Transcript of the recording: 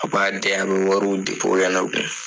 A b'a di a bɛ wariw di cogoyalaw de